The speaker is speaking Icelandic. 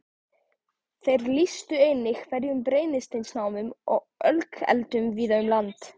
Þeir lýstu einnig hverum, brennisteinsnámum og ölkeldum víða um land.